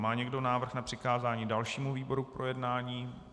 Má někdo návrh na přikázání dalšímu výboru k projednání?